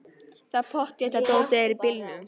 Það er pottþétt að dótið er í bílnum!